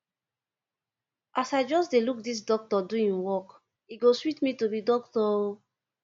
as i just dey look dis doctor do im work e go sweet me to be doctor o